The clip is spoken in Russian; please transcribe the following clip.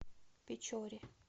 печоре